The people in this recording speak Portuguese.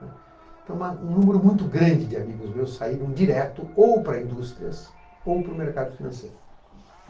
né. Então, um número muito grande de amigos meus saíram direto ou para indústrias ou para o mercado financeiro.